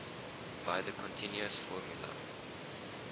by the continuous formula